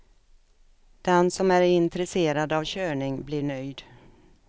Den som är intresserad av körning blir nöjd.